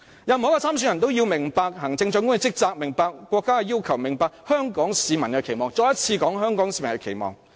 任何一位參選人都要明白行政長官的職責、國家的要求、香港市民的期望——我再一次說，是"香港市民的期望"。